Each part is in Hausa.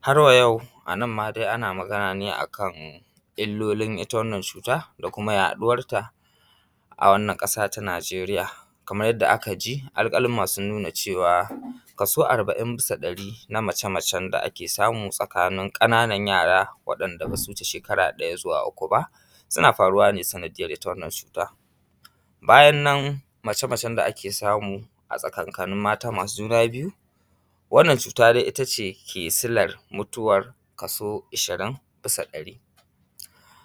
Har wa yau, annan ma dai ana magane ne akan illolin ita wannan cuta da kuma yaɗuwarta a wannan ƙasa ta nijeriya. Kamar yadda aka ji alƙaluma sun nuna cewa kaso arba’in bisa ɗari na mace-macen da ake samu tsakanin ƙananan yara wanda basu wuce shekara ɗaya zuwa uku ba, suna faruwa ne sanadiyar ita wannan cuta. Bayan nan, mace-macen da ake samu a tsakakanin mata masu juna biyu, wannan cuta dai ita ce ke silar mutuwar kaso ishirin bisa ɗari.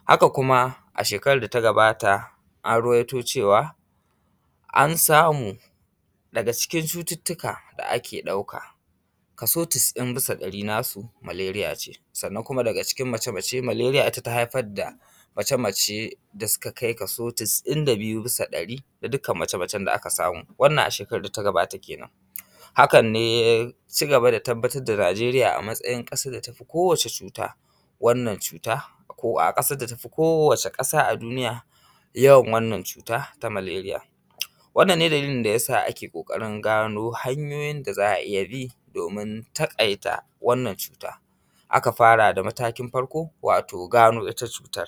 Haka kuma a shekarar data gabata, an ruwato cewa an samu daga ciki cututuka da ake ɗauka, kaso cas’in bisa ɗari nasu maleriya ce sannan daga cikin mace-mace maleriya ita ta haifar da mace mace da suka kai kaso cas’in da biyu bisa ɗari, da dukkan mace-macen da aka samu, wannan a shekarar data gabata kenen. Hakan ne yaci gaba da tabbatar da nijeriya a matsayin ƙasar da tafi kowace cuta, wannan cuta, ko a ƙasar da tafi kowace ƙasa a duniya yawan wannan cuta na maleriya. Wannan ne dalilin dayasa ake ƙoƙarin gano hanyoyin da za a iya bi domin takaita wannan cuta, aka fara da matakin farko, wato gano ita cutan.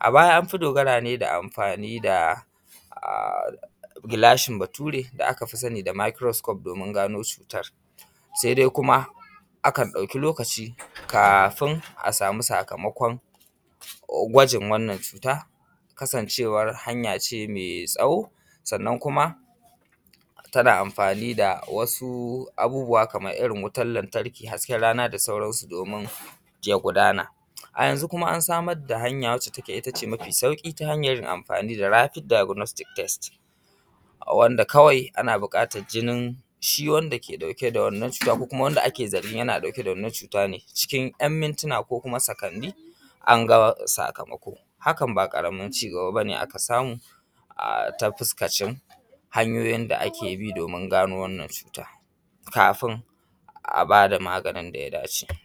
A baya anfi dogara ne da amfani da a gilashin bature da aka fi sani da mikro kufs domin gano cutar, sai dai kuma akan ɗauki lokaci kafin a samu sakamakon gwajin wannan cuta kasancewar hanya ce mai tsawo, sannan kuma tana amfani da wasu abubuwa, kamar irin wutan lantarki, hasken rana da sauransu domin ya gudana, a yanzu kuma an samar da aiki hanya wacce ita ce mafi sauƙi ta hanyar amfani da rafid diykunetis tes, wanda kawai ana buƙatan jinin shi wanda ke ɗauke da wannan cuta, ko kuma Wanda ake zargin yana ɗauke da wannan cuta ne, cikin ‘yan mintina ko kuma sakani, an gano sakamako, hakan ba ƙaramin ci gaba bane aka samu a ta fuskacin hanyoyin da ake bi domin gano wannan cuta, kafin a bada maganin daya dace.